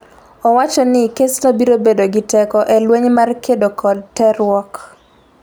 Owacho ni kesno biro bedo gi teko e lweny mar kedo kod terruok.